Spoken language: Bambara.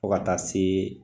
Fɔ ka taa se